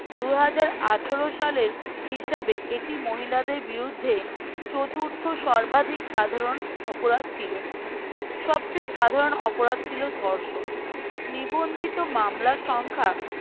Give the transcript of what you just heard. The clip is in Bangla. দুই হাজার আঠারো সালের হিসাবে এটি মহিলাদের বিরুদ্ধে চতুর্থ সর্বাধিক সাধারণ অপরাধ ছিল সবচেয়ে সাধারণ অপরাধ ছিল ধর্ষণ নিবন্ধিত মামলার সংখ্যা